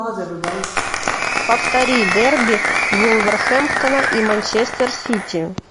повтори дерби вулверхэмптона и манчестер сити